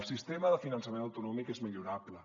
el sistema de finançament autonòmic és millorable